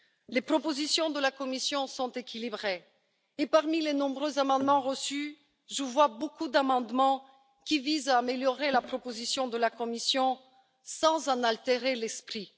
Les propositions de la Commission sont équilibrées, et parmi les nombreux amendements reçus, je vois beaucoup d'amendements qui visent à améliorer la proposition de la Commission sans en altérer l'esprit.